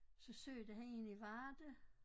Så søgte han en i Varde